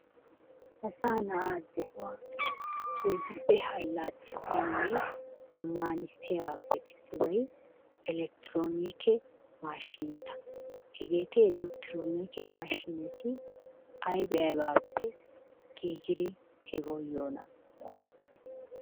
Assaa na'aa de'uwa keehippe allaxxissiyanne zammaanissiyabaappe issibay elekktiroonike maashiineta. Hegeeti elekkitroonike mashiineti ayba aybaappe giigidi hegawu yiyonaa?